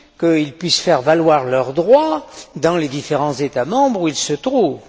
qu'ils puissent faire valoir leurs droits dans les différents États membres où ils se trouvent.